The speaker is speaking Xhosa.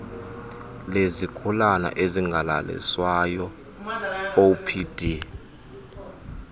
lezigulana ezingalaliswayo opd